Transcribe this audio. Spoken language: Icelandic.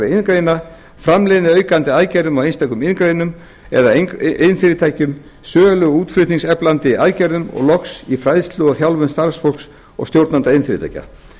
iðngreina framleiðniaukandi aðgerðum í einstökum iðngreinum eða iðnfyrirtækjum sölu og útflutningseflandi aðgerðum og loks í fræðslu og þjálfun starfsfólks og stjórnenda iðnfyrirtækja